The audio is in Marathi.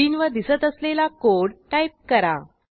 स्क्रीनवर दिसत असलेला कोड टाईप करा